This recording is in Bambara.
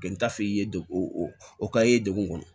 N t'a f'i ye de o k'a ye degun kɔnɔ